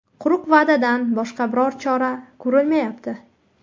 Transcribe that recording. Quruq va’dadan boshqa biron chora ko‘rilmayapti.